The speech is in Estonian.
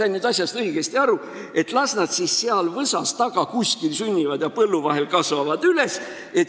Kas ma sain asjast õigesti aru, et las nad seal kuskil võsa taga sünnivad ja kasvavad põllu vahel üles?